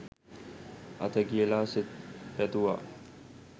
අත තියලා සෙත් පැතුවා.